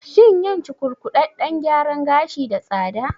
Shin yin cukurkuɗaɗɗen gyaran gashi da tsada?